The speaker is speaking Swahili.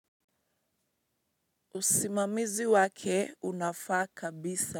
Usimamizi wake unafaa kabisa.